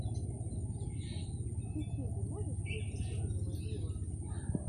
в ютьюбе можешь включить вильяма виво